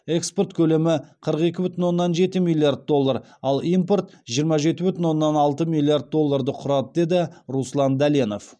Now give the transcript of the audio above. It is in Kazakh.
экспорт көлемі қырық екі бүтін оннан жеті миллиард доллар ал импорт жиырма жеті бүтін оннан алты миллиард долларды құрады деді руслан дәленов